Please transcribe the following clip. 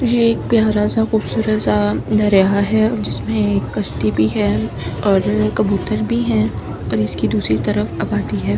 ये एक प्यारा सा खूबसूरत सा दरिया है जिसमें एक कश्ती भी है और कबूतर भी हैं और इसकी दूसरी तरफ आबादी है।